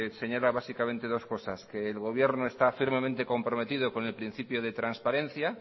señalar básicamente dos cosas que el gobierno está firmemente comprometido con el principio de transparencia